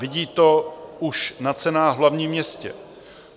Vidí to už na cenách v hlavním městě.